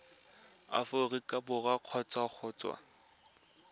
aforika borwa kgotsa go tswa